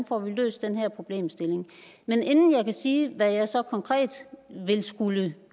får løst den her problemstilling men inden jeg kan sige hvad jeg så konkret vil skulle